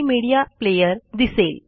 media player दिसेल